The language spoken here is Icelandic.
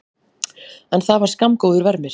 En það var skammgóður vermir.